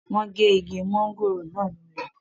wọ́n gé Igi mọ́ngòrò náà lulẹ̀